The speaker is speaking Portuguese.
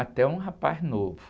Até um rapaz novo.